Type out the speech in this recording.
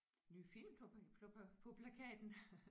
Nye film på på på plakaten